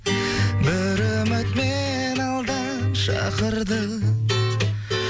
бір үміт мені алдан шақырды